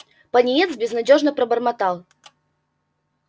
пониетс безнадёжно пробормотал